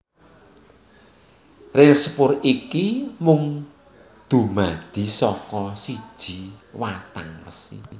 Ril sepur iki mung dumadi saka siji watang wesi